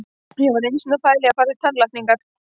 Ég var einu sinni að pæla í að fara í tannlækningar.